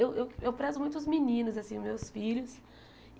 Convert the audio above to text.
Eu eu eu prezo muito os meninos, assim, os meus filhos.